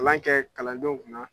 Kalan kɛ kalandenw kuna.